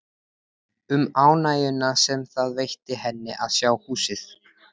Um ánægjuna sem það veitti henni að sjá húsið.